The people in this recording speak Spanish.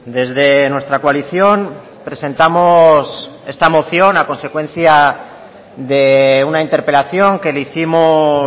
desde nuestra coalición presentamos esta moción a consecuencia de una interpelación que le hicimos